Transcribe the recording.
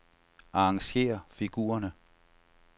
Arrangér figurerne.